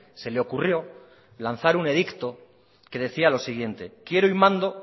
se le ocurrió lanzar un edicto que decía lo siguiente quiero y mando